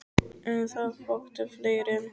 En það vöktu fleiri en hún.